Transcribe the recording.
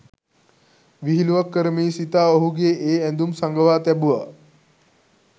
විහිලුවක් කරමියි සිතා ඔහුගේ ඒ ඇඳුම් සඟවා තැබුවා.